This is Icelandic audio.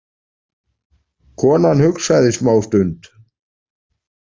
Konan hugsaði smá stund.